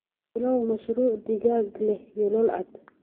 Bilow mashruuc digaag leh yoolal cad.